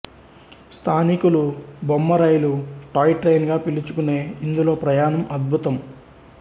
స్థానికులు బొమ్మ రైలు టాయ్ ట్రైన్ గా పిలుచుకునే ఇందులో ప్రయాణం అద్భుతం